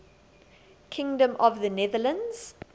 kingdom of the netherlands